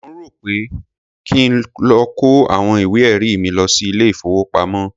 Mò ń rò ó pé kí n lọ kó àwọn ìwé-ẹ̀rí mi lọ sí ilé-ìfowópamọ́.